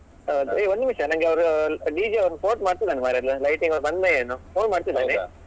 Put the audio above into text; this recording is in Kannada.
ಹೌದು ಹೇ ಒಂದು ನಿಮಿಷ ನಂಗೆ ಅವ್ರು DJ ಅವನು phone ಮಾಡ್ತಿದ್ದಾನೆ ಮರ್ರೆ lighting ಅವನು ಬಂದ್ನಾ ಏನೋ phone ಮಾಡ್ತಿದ್ದಾನೆ.